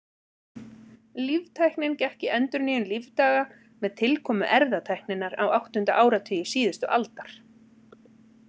Líftæknin gekk í endurnýjun lífdaga með tilkomu erfðatækninnar á áttunda áratugi síðustu aldar.